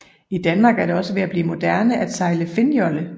I Danmark er det også ved at blive moderne at sejle finnjolle